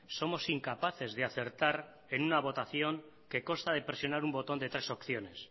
somos incapaces de acertar en una votación que consta de presionar un botón de tres opciones